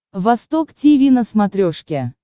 восток тиви на смотрешке